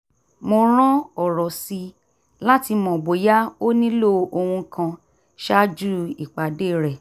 mo rán ọ̀rọ̀ sí i láti mọ bóyá ó nílò ohun kan ṣáájú ìpàdé rẹ̀